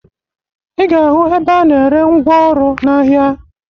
Ị ga-ahụ ebe a na-ere ngwaọrụ n'ahịa